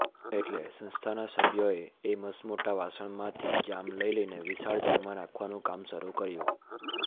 એટલે સંસ્થાના સભ્યોએ એ મસમોટા વાસણમાંથી જામ લઈલઈને વિશાળ જારમાં નાખવાનું કામ શરૂ કર્યું